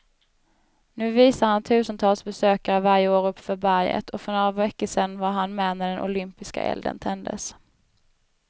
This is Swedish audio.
Nu visar han tusentals besökare varje år uppför berget, och för några veckor sedan var han med när den olympiska elden tändes.